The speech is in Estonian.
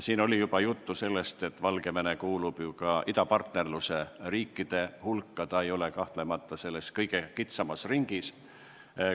Siin oli juba juttu sellest, et Valgevene kuulub idapartnerluse riikide hulka, ta ei ole kahtlemata selles kõige kitsamas ringis.